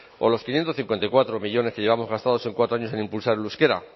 o los quinientos cincuenta y cuatro millónes que llevamos gastados en cuatro años en impulsar el euskera